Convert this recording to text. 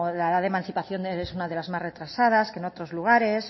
la edad de emancipación es una de las más retrasas que en otros lugares